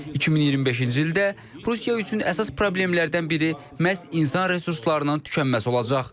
2025-ci ildə Rusiya üçün əsas problemlərdən biri məhz insan resurslarının tükənməsi olacaq.